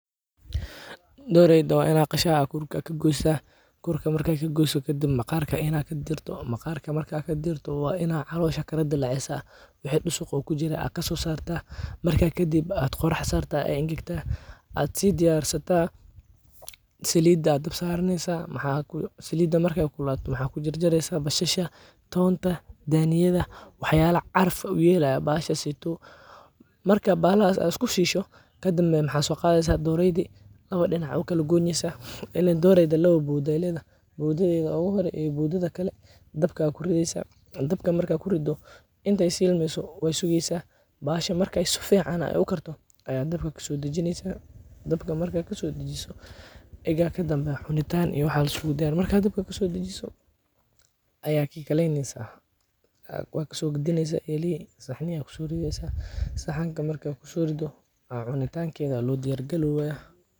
doreyda wa inad qashaa, kuur aadh kagoysa, kurka mar kaad kaqoyso kadambe, maqarka inad kadirto, oo maqaarka markadh kadiirto, wa inaad calosha kadalacisaa waxa. dusuug oo kujiraa inaad kasosarta, marka kadib aad qorax sartaa ay engegtaa, aad si diyarsata salida aad daab saraneysaa, maxa salida markay kululato waxa kujarjareysa basasha , tonta, daniyada , wax yalaa caraf iyo udgoon uyelayo, maxashasayto, marka baxalaxas aad iskusisho kadibna waxa soqadeysa doreyda lawa dinac ayadh ukalagoyneysa waliba doreyda lawaa bowdaa aya ledhah, bowdadheda oguhore iyo bowdadeda kale, dabka kurideysaa, dabka marka kurido intay shilmeyso wasugeysaa, baxasha marka su ficaan ay ukarto ayad dabka kasodajineysaa, dabka marka kasodajisoo wa digaa kadib aa cunitan iyo wax illiskuladiyarina, marka dabka kasodajisoo aya kikaleyneysa, wa kasogadineysaa elixii saxnii aya kusorideysaa, saxaanka marka kusorido aa cunitankeda aya lodiyar galowa.